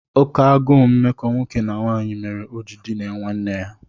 Oké agụụ mmekọ nwoke na nwanyị mere o ji dinaa nwanne ya.